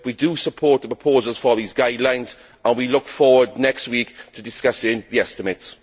we do support the proposals for these guidelines, and we look forward next week to discussing the estimates.